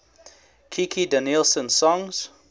kikki danielsson songs